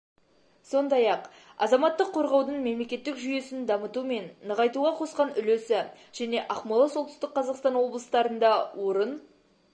сондай-ақ азаматтық қорғаудың мемлекеттік жүйесін дамыту мен нығайтуға қосқан үлесі және ақмола солтүстік қазақстан облыстарында орын